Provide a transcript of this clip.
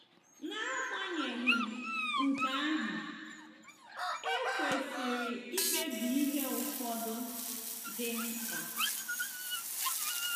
N'agbanyeghị nke ahụ, e kwesịrị ikpebi ihe ụfọdụ dị mkpa.